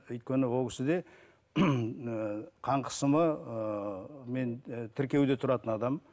өйткені ол кісіде ыыы қан қысымы ыыы мен і тіркеуде тұратын адам